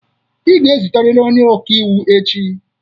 Ị ga ezute riri onye ọka iwu echi!